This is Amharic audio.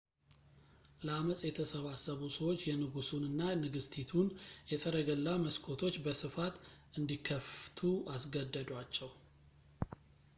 ለአመጽ የተሰባሰቡ ሰዎች የንጉሱን እና ንግሥቲቱን የሰረገላ መስኮቶች በስፋት እንዲከፍቱ አስገደዷቸው